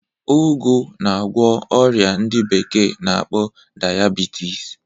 Ụgụ na-agwọ ọrịa ndị bekee na-akpọ dayabitis